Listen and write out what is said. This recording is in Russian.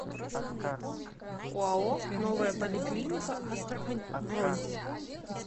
оао новая поликлиника астрахань бронь